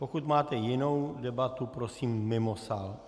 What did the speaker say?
Pokud máte jinou debatu, prosím mimo sál.